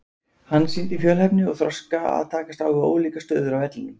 Hann sýndi fjölhæfni og þroska að takast á við ólíkar stöður á vellinum.